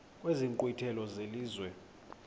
kwezi nkqwithela zelizwe